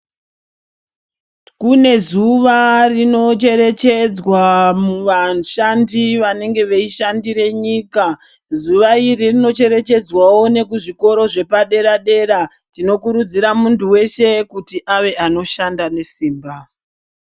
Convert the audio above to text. Kune zuva rinocherechedzwa vashandi vanenge veishandire nyika. Zuwa iri rinocherechedzwawo nekuzvikora zvepadera-dera. Tinokurudzira muntu weshe kuti ave anoshanda nesimba.